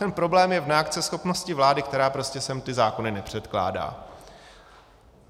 Ten problém je v neakceschopnosti vlády, která prostě sem ty zákony nepředkládá.